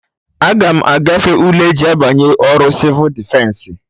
Aga m agafe ule eji abanye ọrụ Sịvụ Defensị